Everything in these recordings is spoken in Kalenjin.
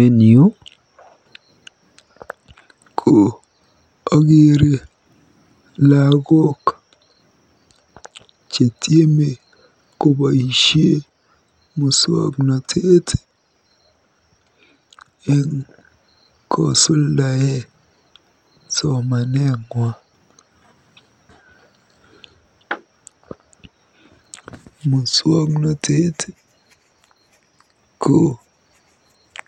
En yu ko akeere lagok chetieme koboisie muswoknotet eng kosuldae somanetng'wa. Muswoknotet ko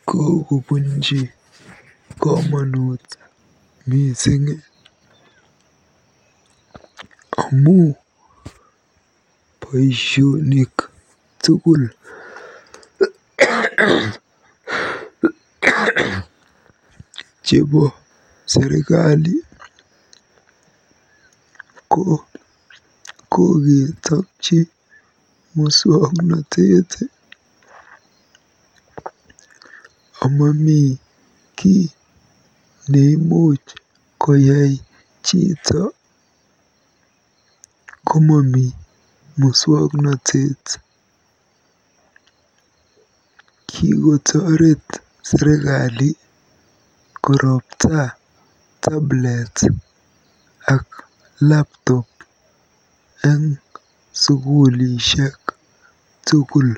kokobunji komonut mising amu boisionik tugul chebo serikali ko koketokji musoknotet ako mami kiy ne imuch koyai chito komami musoknotet. Kikotoret serikali koropta laptop eng sukulishek tugul.